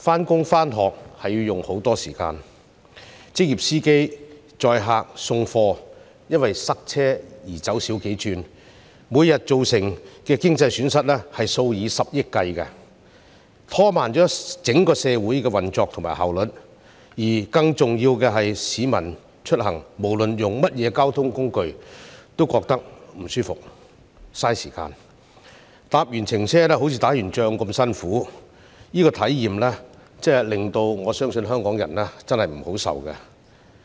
上班和上學要花很長時間，載客和送貨的職業司機也因為塞車而要減少接工作，每天造成的經濟損失數以十億元計，拖慢了整個社會的運作和效率，而更重要的是，市民出行無論使用甚麼交通工具都感到不舒適，浪費時間，下車後好像打完仗般辛苦，我相信對香港人來說，這種體驗真的不好受。